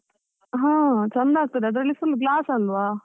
ಹ, ಚಂದ ಆಗ್ತಾದೆ ಅದ್ರಲ್ಲಿ full glass ಅಲ್ವಾ.